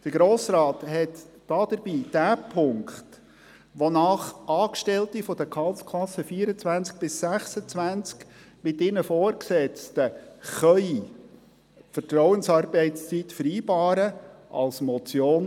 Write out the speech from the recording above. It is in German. Der Grosse Rat überwies dabei denjenigen Punkt, wonach Angestellte der Gehaltsklassen 24–26 mit ihren Vorgesetzten Vertrauensarbeitszeit vereinbaren als Motion.